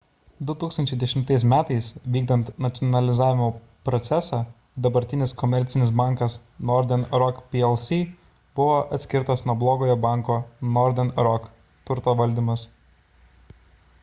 2010 m. vykdant nacionalizavimo procesą dabartinis komercinis bankas northern rock plc buvo atskirtas nuo blogojo banko northern rock turto valdymas